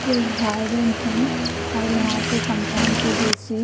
ये एक गार्डन है और यहा पे कम्पाउन के जेसे--